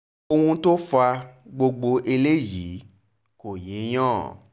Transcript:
ohun tó fa gbogbo eléyìí kò yéèyàn